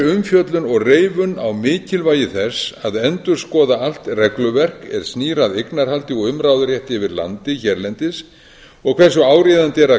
umfjöllun og reifun á mikilvægi þess að endurskoða allt regluverk er snýr að eignarhaldi og umráðarétti yfir landi hérlendis og hversu áríðandi er að